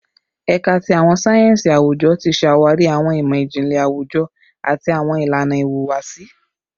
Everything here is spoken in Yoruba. Ẹka ti Awọn sáyẹnsì Awujọ ti ṣawari awọn imọ-jinlẹ awujọ ati awọn ilana ihuwasi